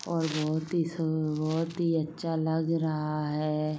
और बहोत सु बहोत ही अच्छा लग रहा है।